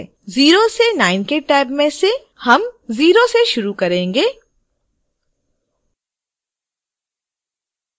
0 से 9 के टैब में से हम टैब शून्य से शुरू range